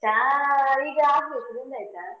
ಚಾ ಈಗಾಗ್ಬೇಕು, ನಿಂದಾಯ್ತಾ?